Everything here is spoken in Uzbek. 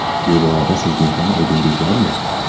Bu borada sizning ham aybingiz bormi?